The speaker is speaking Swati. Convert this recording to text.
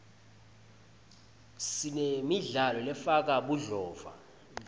sinemidlalo lefaka budlova